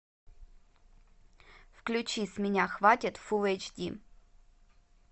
включи с меня хватит фул эйч ди